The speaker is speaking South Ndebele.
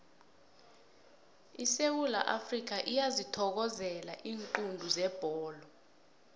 isewula afrikha iyazithokozela iinqundu zebholo